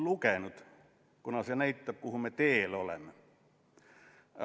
Hoiatus", mis näitab, kuhu me teel oleme.